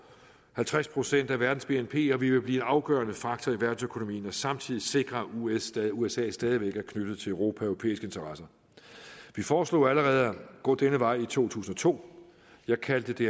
halvtreds procent af verdens bnp og vi vil blive en afgørende faktor i verdensøkonomien og samtidig sikre at usa usa stadig væk er knyttet til europa og europæiske interesser vi foreslog allerede at gå denne vej i to tusind og to jeg kaldte det